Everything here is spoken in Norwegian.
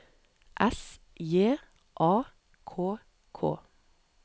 S J A K K